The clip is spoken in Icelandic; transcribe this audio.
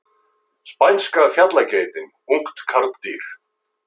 Spænska fjallageitin, ungt karldýr.